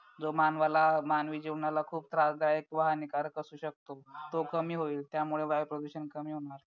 जो मानवाला मानवी जीवनाला खूप त्रासदायक व हानिकारक असू शकतो तो कमी होईल त्यामुळे वायु प्रदूषण कमी होणार